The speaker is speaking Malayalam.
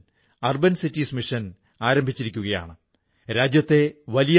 താഴ്വരയിലെ ചിനാറിന്റെ തടിയിൽ വലിയ അളവിൽ ഈർപ്പമുണ്ട് മൃദുത്വമുണ്ട്